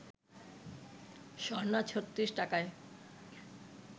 স্বর্ণা ৩৬ টাকায়